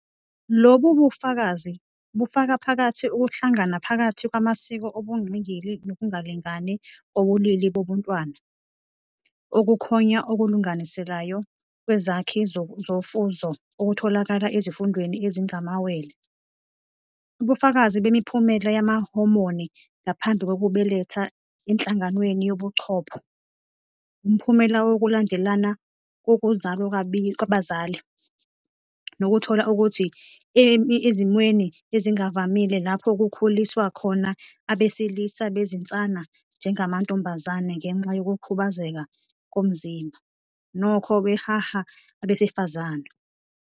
Lobu bufakazi bufaka phakathi ukuhlangana phakathi kwamasiko obungqingili nokungalingani kobulili bobuntwana, ukuthonya okulinganiselayo kwezakhi zofuzo okutholakala ezifundweni ezingamawele, ubufakazi bemiphumela yamahomoni ngaphambi kokubeletha enhlanganweni yobuchopho, umphumela wokulandelana kokuzalwa kwabazali, nokuthola ukuthi ezimweni ezingavamile lapho kukhuliswa khona abesilisa bezinsana njengamantombazane ngenxa yokukhubazeka komzimba, nokho baheha abesifazane.